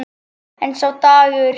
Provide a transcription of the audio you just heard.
En sá dagur!